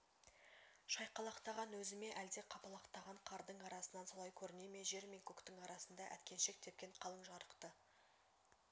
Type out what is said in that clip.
шайқалақтаған өзі ме әлде қапалақтаған қардың арасынан солай көріне ме жер мен көктің арасында әткеншек тепкен қалың жарықты